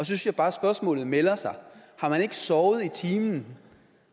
synes jeg bare at spørgsmålet melder sig har man ikke sovet i timen